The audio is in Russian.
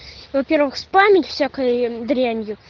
во-первых память всякая дрянью